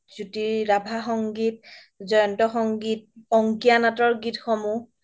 জ্যোতি ৰাভা সংগীত, জয়ন্ত সংগীত, অংকীয়া নাটৰ গীত সমূহ